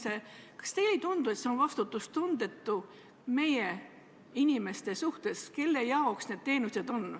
Seda operatsiooni, mida see mandaat käsitleb, veel ei toimu ja seda ka ei planeerita.